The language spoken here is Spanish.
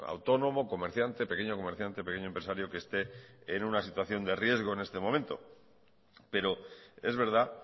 autónomo comerciante pequeño comerciante pequeño empresario que este en una situación de riesgo en este momento pero es verdad